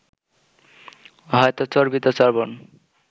হয়তো চর্বিতচর্বণ